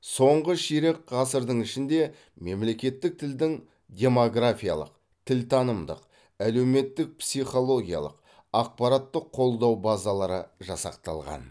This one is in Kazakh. соңғы ширек ғасырдың ішінде мемлекеттік тілдің демографиялық тілтанымдық әлеуметтік психологиялық ақпараттық қолдау базалары жасақталған